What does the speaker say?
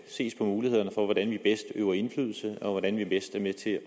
ses på mulighederne for hvordan vi bedst øver indflydelse og hvordan vi bedst er med til